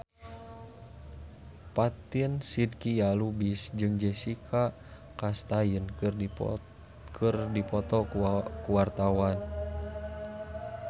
Fatin Shidqia Lubis jeung Jessica Chastain keur dipoto ku wartawan